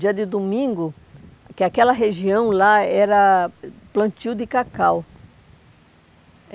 Dia de domingo, que aquela região lá era plantio de cacau.